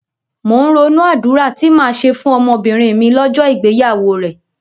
Mò ń ronú àdúrà tí màá ṣe fún ọmọbìnrin mi lọ́jọ́ ìgbéyàwó rẹ̀.